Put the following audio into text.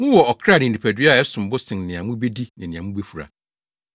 Mowɔ ɔkra ne nipadua a ɛsom bo sen nea mubedi ne nea mubefura.